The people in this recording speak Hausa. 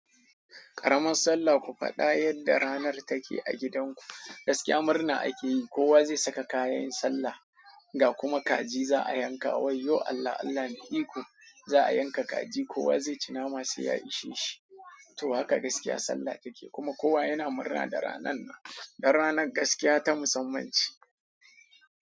Karamar sallah ku faɗa yadda ranar take a gidanku. Gaskiya murna ake yi, kowa zai saka kayan sallah, ga kuma kaji za a yanka wai yo Allah Allah mai iko. Za a yanka kaji kowa zai ci nama sai ya ishe shi. To haka gaskiya sallah take kuma kowa yana murna da ranan nan. Don ranar gaskiya ta musammance.